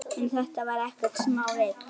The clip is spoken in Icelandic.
En þetta var ekkert smávik.